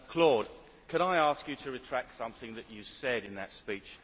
Claude, can I ask you to retract something that you said in that speech?